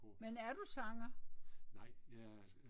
Men er du sanger?